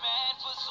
ra nga a wana u